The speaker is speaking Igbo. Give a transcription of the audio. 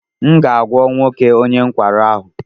M ga-agwọ nwoke onye nkwarụ ahụ.